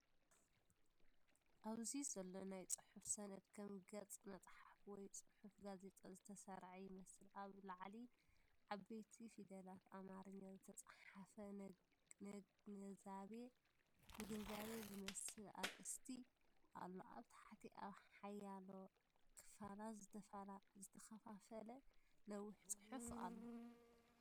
ኣብዚ ዘሎ ናይ ጽሑፍ ሰነድ ከም ገጽ መጽሓፍ ወይ ጽሑፍ ጋዜጣ ዝተሰርዐ ይመስል። ኣብ ላዕሊ ብዓበይቲ ፊደላት ኣምሓርኛ ዝተጻሕፈ “ነግንዛቤ” ዝመስል ኣርእስቲ ኣሎ። ኣብ ታሕቲ ኣብ ሓያሎ ክፋላት ዝተኸፋፈለ ነዊሕ ጽሑፍ ኣሎ።